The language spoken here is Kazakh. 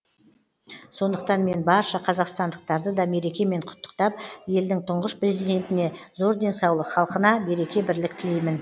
сондықтан мен барша қазақстандықтарды да мерекемен құттықтап елдің тұңғыш президентіне зор денсаулық халқына береке бірлік тілеймін